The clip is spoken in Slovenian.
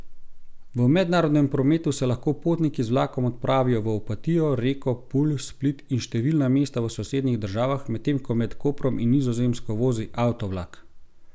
V mednarodnem prometu se lahko potniki z vlakom odpravijo v Opatijo, Reko, Pulj, Split in številna mesta v sosednjih državah, medtem ko Med Koprom in Nizozemsko vozi avtovlak.